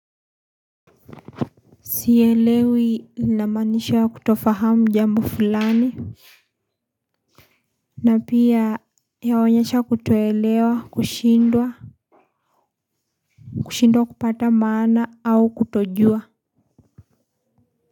Sielewi inamanisha kutofahamu jambo fulani. Na pia yaonyesha kutoelewa kushindwa, kushindwa kupata maana au kutojua.